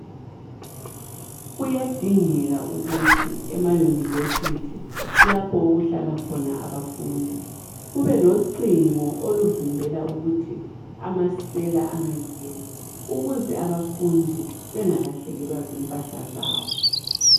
Kuyadingeka ukuthi emayunivesithi lapho ukuhlala khona abafundi kubelocingo oluvimbela ukuthi amasela angangeni ukuze abafundi bengakahlekelwa zimpahla zabo.